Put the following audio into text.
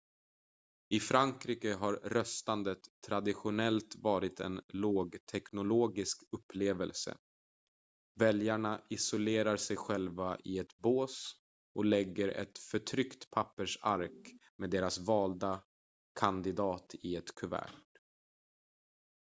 i frankrike har röstandet traditionellt varit en lågteknologisk upplevelse väljarna isolerar sig själva i ett bås och lägger ett förtryckt pappersark med deras valda kandidat i ett kuvert